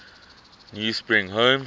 new spring home